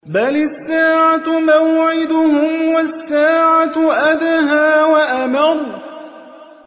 بَلِ السَّاعَةُ مَوْعِدُهُمْ وَالسَّاعَةُ أَدْهَىٰ وَأَمَرُّ